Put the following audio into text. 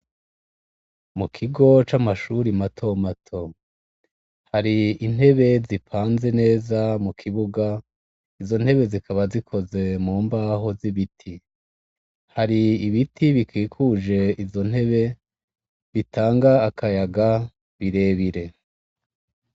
Mu kigo c'amashure mato mato, hari intebe zipanze neza mu kibuga, izo ntebe zikaba zikoze mu mbaho z'ibiti. Hari ibiti bikikuje izo ntebe, bitanga akayaga, birebire.